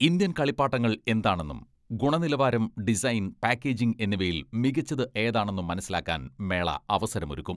Indian കളിപ്പാട്ടങ്ങൾ എന്താണെന്നും ഗുണനിലവാരം, ഡിസൈൻ, പാക്കേജിംഗ് എന്നിവയിൽ മികച്ചത് ഏതാണെന്നും മനസ്സിലാക്കാൻ മേള അവസരമൊരുക്കും.